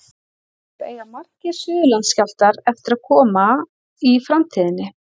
Hins vegar eiga margir Suðurlandsskjálftar eftir að koma í framtíðinni.